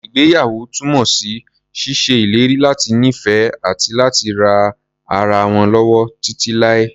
Ìgbéyàwó túnmọ̀ sí ṣíṣe ìlérí láti nífẹ̀ẹ́, àti láti ran ara wọn lọ́wọ́ títí láé.